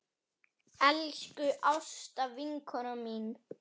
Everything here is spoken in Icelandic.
Elsku Ásta vinkona mín.